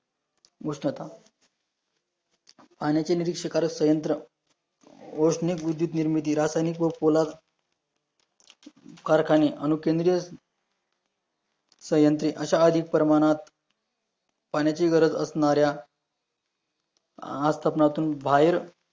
कारखाने आणि अणुकेंद्र सायंत्रित अशा अधिक प्रमाणात, पाण्याची गरज असणार्या आज सामनातून बाहेर